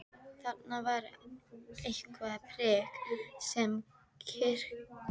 Þarna var eitthvert prik sem kyrkislanga vafðist utan um.